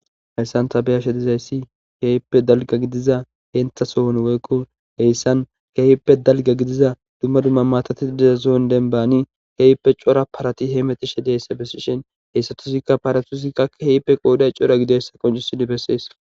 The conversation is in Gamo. heyssan ta beyamshshe dizayssi ke'ihippe dalgga giidiza henta sohon woykko heyssan ke'ihippe dalgga giidiza dumma dumma mattati diza soon denbani ke'ihippe cora parati heemetishshe diyissa bessishshin hessatussikka paratussikakka ke'ihippe qodday cora gideyssa qoncissidi bessees